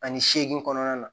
Ani seegin kɔnɔna na